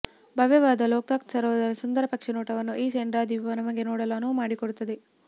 ಭವ್ಯವಾದ ಲೋಕ್ತಾಕ್ ಸರೋವರದ ಸುಂದರ ಪಕ್ಷಿನೋಟವನ್ನು ಈ ಸೆಂಡ್ರಾ ದ್ವೀಪ ನಮಗೆ ನೋಡಲು ಅನುವು ಮಾಡಿಕೊಡುತ್ತದೆ